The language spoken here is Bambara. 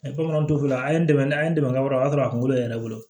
bamananw t'o fɔ a ye n dɛmɛ an ye dɛmɛ wɛrɛ don o y'a sɔrɔ a kunkolo yɛrɛ bolo